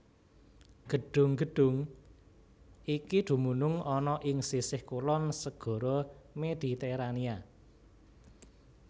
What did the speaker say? Gedhung gedhung iki dumunung ana ing sisih kulon Segara Mediterania